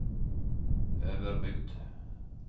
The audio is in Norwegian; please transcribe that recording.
Øverbygd